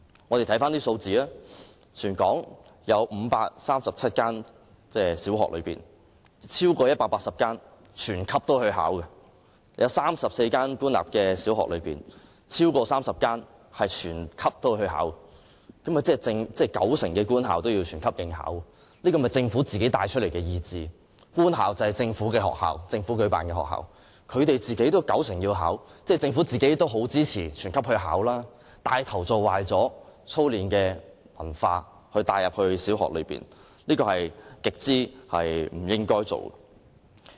大家看看數字，全港有537間小學，其中超過180間會全級學生應考；在34間官立小學中，超過30間會全級學生應考，即九成官校也會全級學生應考，這便是政府自己帶出的意志，官校是政府開辦的學校，其中有九成學校會全級應考，即政府自己也甚為支持全級學生應考，牽頭把操練文化帶入小學，這是極不應該的。